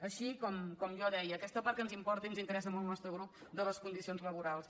així com jo deia aquesta part que ens importa i ens interessa molt al nostre grup de les condicions laborals